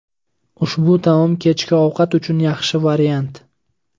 Ushbu taom kechki ovqat uchun yaxshi variant.